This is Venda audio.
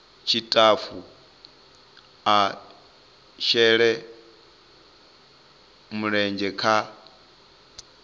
tshitafu a shele mulenzhe kha